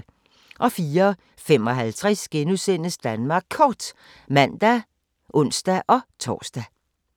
04:55: Danmark Kort *(man og ons-tor)